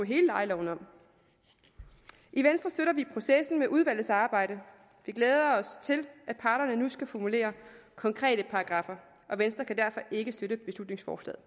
hele lejeloven om i venstre støtter vi processen med udvalgets arbejde vi glæder os til at parterne nu skal formulere konkrete paragraffer og venstre kan derfor ikke støtte beslutningsforslaget